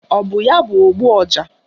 Ọ bụ ya bụ ogbu ọja?